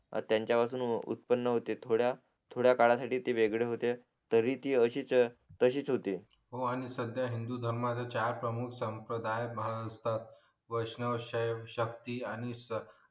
त्याच्या पासून उत्पन होते थोड्या थोड्या काळासाठी ते वेगळं होते तरी ती अशीच तशीच होते हो आणि सध्या हिंदुधर्मच प्रमुख संपदाय महान असतात वैष्णवशक्ती आणि श्रद्धा